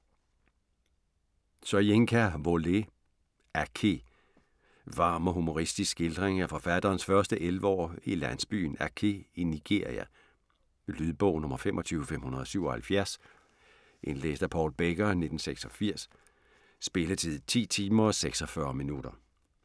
Soyinka, Wole: Aké Varm og humoristisk skildring af forfatterens første 11 år i landsbyen Aké i Nigeria. Lydbog 25577 Indlæst af Paul Becker, 1986. Spilletid: 10 timer, 46 minutter.